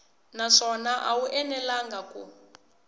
naswona a wu enelangi ku